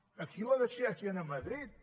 aquí la decideixen a madrid